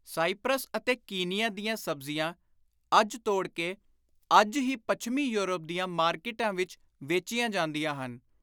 ਸਾਈਪ੍ਸ ਅਤੇ ਕੀਨੀਆਂ ਦੀਆਂ ਸਬਜ਼ੀਆਂ, ਅੱਜ ਤੋੜ ਕੇ, ਅੱਜ ਹੀ ਪੱਛਮੀ ਯੂਰਪ ਦੀਆਂ ਮਾਰਕੀਟਾਂ ਵਿਚ ਵੇਚੀਆਂ ਜਾਂਦੀਆਂ ਹਨ।